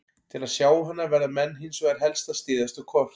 Til að sjá hana verða menn hins vegar helst að styðjast við kort.